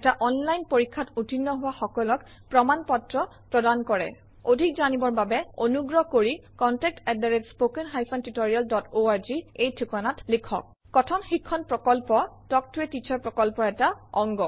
এটা অনলাইন পৰীক্ষাত উত্তীৰ্ণ হোৱা সকলক প্ৰমাণ পত্ৰ প্ৰদান কৰে অধিক জানিবৰ বাবে অনুগ্ৰহ কৰি কণ্টেক্ট আত spoken hyphen tutorial dot org - এই ঠিকনাত লিখক কথন শিক্ষণ প্ৰকল্প তাল্ক ত a টিচাৰ প্ৰকল্পৰ এটা অংগ